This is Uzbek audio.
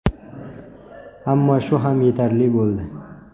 Ammo shu ham yetarli bo‘ldi.